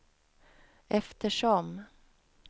eftersom